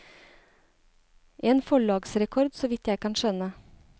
En forlagsrekord, så vidt jeg kan skjønne.